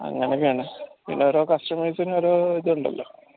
അങ്ങനൊക്കാണ് പിന്നെ ഓരോ customers ന് ഓരോ ഇതുണ്ടല്ലോ